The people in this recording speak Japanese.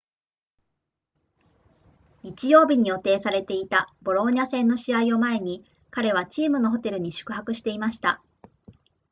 日曜日に予定されていたボローニャ戦の試合を前に彼はチームのホテルに宿泊していました